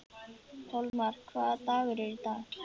Hólmar, hvaða dagur er í dag?